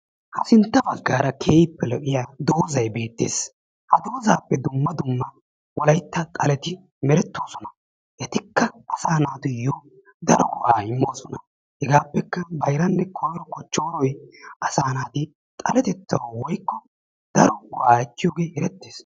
ha sintta bagaara keehippe lo"iyaa doozay beettees. ha doozappe dumma dumma wolaytta xaleti meretoosona. etikka asaa naatuyoo daro go"aa iimmoosona. hegaapekka bayrranne koyro kochchooroy asaa naati xaaletettawu woykko daaro go"aa ekiyoogee erettees.